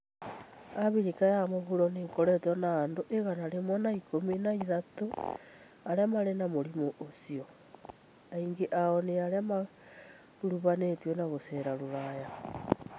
Abirika ya mũburo nĩ ĩkoretwo na andũ igana rĩmwe an ĩkumi an ĩthatũ arĩa marĩ na mũrimũ ũcio, aingĩ ao nĩ arĩa maakũrũbanitio na gucera Rũraya.